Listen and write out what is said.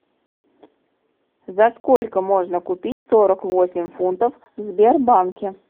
за сколько можно купить сорок восемь фунтов в сбербанке